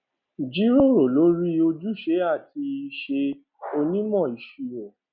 jíròrò lórí ojúṣe àti iṣẹ onímọ ìṣirò